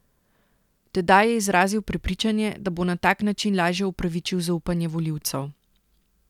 Tedaj je izrazil prepričanje, da bo na tak način lažje upravičil zaupanje volivcev.